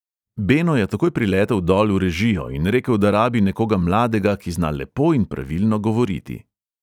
Beno je takoj priletel dol v režijo in rekel, da rabi nekoga mladega, ki zna lepo in pravilno govoriti.